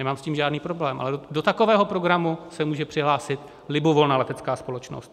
Nemám s tím žádný problém, ale do takového programu se může přihlásit libovolná letecká společnost.